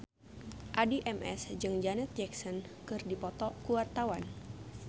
Addie MS jeung Janet Jackson keur dipoto ku wartawan